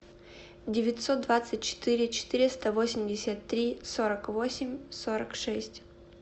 девятьсот двадцать четыре четыреста восемьдесят три сорок восемь сорок шесть